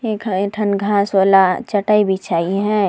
एखन ऐठन घास वाला चटाई बिछाई हे ।